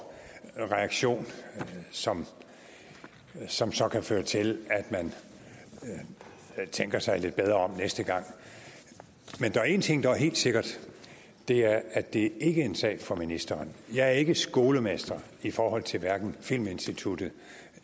reaktion som som så kan føre til at man tænker sig lidt bedre om næste gang men der er en ting der er helt sikker og det er at det ikke er en sag for ministeren jeg er ikke skolemester i forhold til hverken filminstituttet